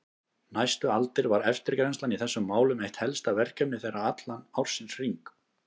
Næstu aldir var eftirgrennslan í þessum málum eitt helsta verkefni þeirra allan ársins hring.